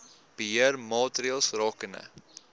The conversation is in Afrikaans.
beheer maatreëls rakende